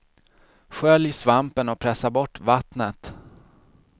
Skölj svampen och pressa bort vattnet.